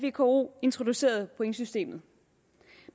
vko introducerede pointsystemet